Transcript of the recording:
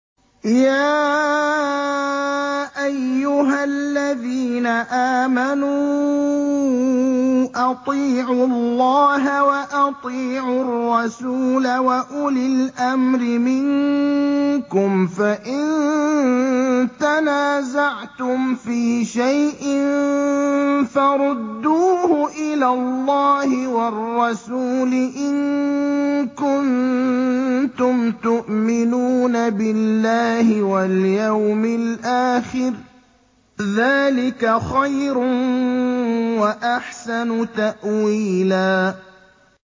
يَا أَيُّهَا الَّذِينَ آمَنُوا أَطِيعُوا اللَّهَ وَأَطِيعُوا الرَّسُولَ وَأُولِي الْأَمْرِ مِنكُمْ ۖ فَإِن تَنَازَعْتُمْ فِي شَيْءٍ فَرُدُّوهُ إِلَى اللَّهِ وَالرَّسُولِ إِن كُنتُمْ تُؤْمِنُونَ بِاللَّهِ وَالْيَوْمِ الْآخِرِ ۚ ذَٰلِكَ خَيْرٌ وَأَحْسَنُ تَأْوِيلًا